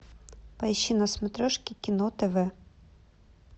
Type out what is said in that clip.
поищи на смотрешке кино тв